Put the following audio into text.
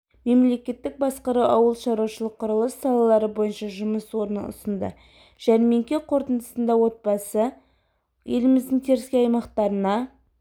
мемлекеттік басқару ауыл шаруашылық құрылыс салалары бойынша жұмыс орнын ұсынды жәрмеңке қорытындысында отбасы еліміздің теріскей аймақтарына